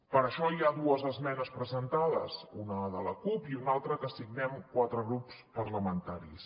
per això hi ha dues esmenes presentades una de la cup i una altra que signem quatre grups parlamentaris